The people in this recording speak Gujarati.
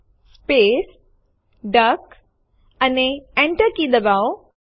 આપણે ઉપર ખસાડીશું તો તમે અહીં જોઈ શકશો ડેમો2 છે